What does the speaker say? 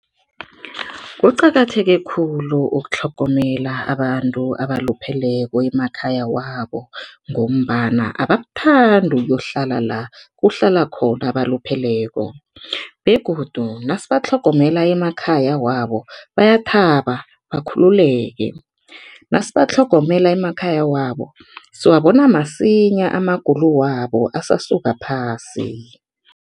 Kuqakatheke khulu ukutlhogomela abantu abalupheleko emakhaya wabo ngombana abakuthandi ukuyohlala la kuhlala khona abalupheleko begodu nasibatlhogomela emakhaya wabo, bayathaba bakhululeke. Nasibatlhogomela emakhaya wabo, siwabona masinyana amagulo wabo, asasuka phasi.